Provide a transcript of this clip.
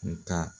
Nga